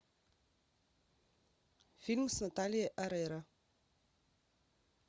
фильм с натальей орейро